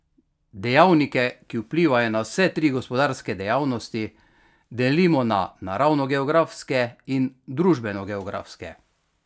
Dejavnike, ki vplivajo na vse tri gospodarske dejavnosti, delimo na naravnogeografske in družbenogeografske.